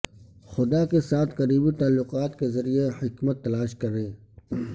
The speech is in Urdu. خدا کے ساتھ قریبی تعلقات کے ذریعے حکمت تلاش کریں